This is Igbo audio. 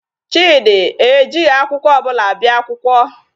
Chidi ejighị akwụkwọ ọbụla bịa akwụkwọ.